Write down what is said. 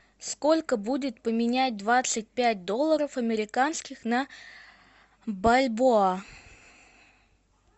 сколько будет поменять двадцать пять долларов американских на бальбоа